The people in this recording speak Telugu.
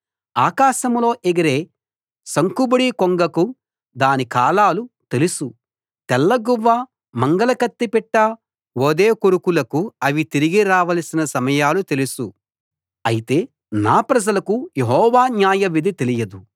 ఆకాశంలో ఎగిరే సంకుబుడి కొంగకు దాని కాలాలు తెలుసు తెల్ల గువ్వ మంగలకత్తి పిట్ట ఓదెకొరుకులకు అవి తిరిగి రావలసిన సమయాలు తెలుసు అయితే నా ప్రజలకు యెహోవా న్యాయవిధి తెలియదు